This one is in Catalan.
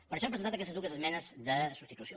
per això hem presentat aquestes dues esmenes de substitució